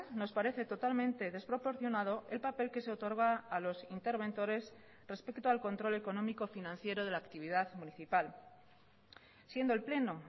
nos parece totalmente desproporcionado el papel que se otorga a los interventores respecto al control económico financiero de la actividad municipal siendo el pleno